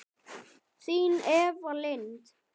Þín Eva Lind.